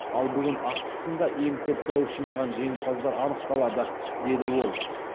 ал бүгін ақтық сында ең көп дауыс жинаған жеңімпаздар анықталады деді ол